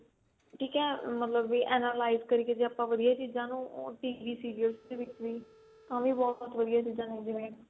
ਠੀਕ ਏ ਮਤਲਬ ਵੀ analyze ਕਰਕੇ ਜੇ ਆਪਾਂ ਵਧੀਆ ਚੀਜ਼ਾਂ ਨੂੰ TV serial ਚ ਵੀ ਤਾਂ ਵੀ ਬਹੁਤ ਵਧੀਆ ਚੀਜ਼ਾਂ ਹੋਣ ਜਿਵੇਂ